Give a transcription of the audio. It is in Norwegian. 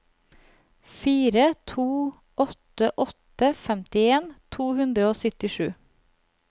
fire to åtte åtte femtien to hundre og syttisju